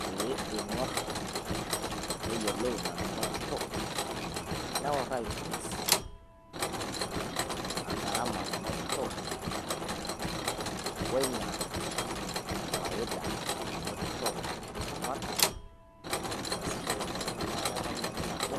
pee ingor ina nanotito neworr aitoris gharama nanotito woina faida nanotito laramarak easishore enduata wendamunoto nabo